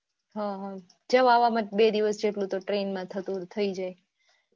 હા હા જવા આવવા માં બે દિવસ જેટલું તો ટ્રેન માં થતુ થઇ જાય.